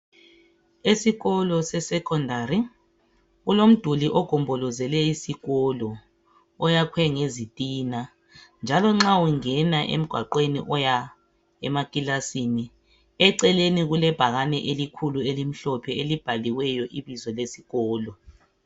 Esikolo sesekhondari kulomduli ogombolozele isikolo oyakhiwe ngezitina. Nxa ungena emgwaqweni oya emakilasini eceleni kulebhakane elikhulu elimhlophe elibhalwe ibizo lesikolo.